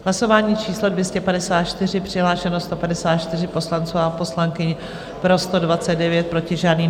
Hlasování číslo 254, přihlášeno 154 poslanců a poslankyň, pro 129, proti žádný.